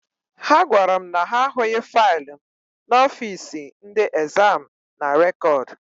Ha gwara m na ha ahụghị faịlụ m n'ọfiisi ndị ezam na rekọd.